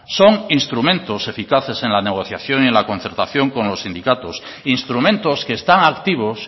son instrumentos eficaces en la negociación y en la concertación con los sindicatos instrumentos que están activos